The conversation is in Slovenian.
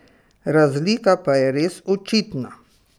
Razlika pa je res očitna.